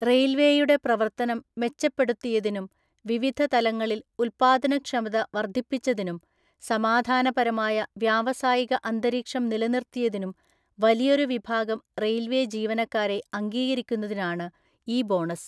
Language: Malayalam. റെയില്‍വേയുടെ പ്രവർത്തനം മെച്ചപ്പെടുത്തിയതിനും, വിവധ തലങ്ങളില്‍ ഉല്‍പ്പാദനക്ഷമത വർദ്ധിപ്പിച്ചതിനും , സമാധാനപരമായ വ്യാവസായിക അന്തരീക്ഷം നിലനിർത്തിയതിനും വലിയൊരു വിഭാഗം റെയില്‍വേ ജീവനക്കാരെ അംഗീകരിക്കുന്നതിനാണ് ഈ ബോണസ്.